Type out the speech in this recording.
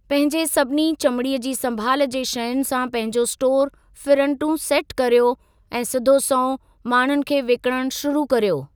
पंहिंजे सभिनी चमिड़ीअ जी संभाल जे शयुनि सां पंहिंजो स्टोर फ़िरंटू सेट कर्यो ऐं सिधो संओं माण्हुनि खे विकिणणु शुरू कर्यो।